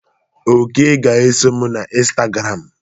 Oke ga eso m na Instagram.